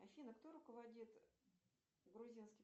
афина кто руководит грузинским